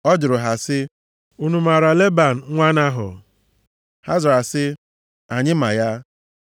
Ọ jụrụ ha sị, “Unu maara Leban, nwa Nahọ?” Ha zara sị, “Anyị ma ya.”